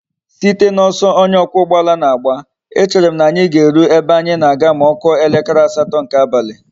Site na oso onye okwa ugboala na agba,e chere m na anyi ga eru ebe anyi na aga ma okuo elekere asato nke abali